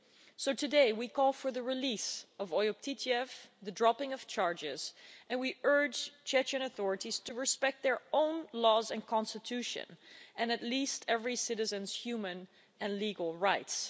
So today we call for the release of Oyub Titiev and the dropping of charges, and we urge the Chechen authorities to respect their own laws and constitution and at least every citizen's human and legal rights.